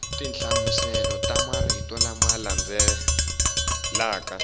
tinhlamuselo ta marito lama landzelaka